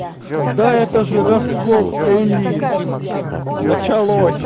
да это же раскол элит началось